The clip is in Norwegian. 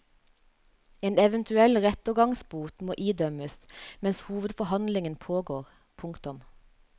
En eventuell rettergangsbot må idømmes mens hovedforhandlingen pågår. punktum